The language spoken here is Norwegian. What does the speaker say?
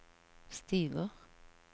stiger